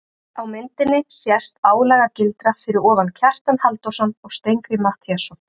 Á myndinni sést álagildra fyrir ofan Kjartan Halldórsson og Steingrím Matthíasson.